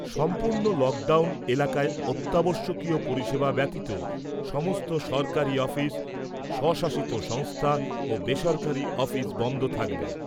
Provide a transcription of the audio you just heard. সম্পূর্ণ লকডাউন এলাকায় অত্যাবশ্যকীয় পরিষেবা ব্যাতীত সমস্ত সরকারি অফিস , স্বশাসিত সংস্থা ও বেসরকারি অফিস বন্ধ থাকবে ।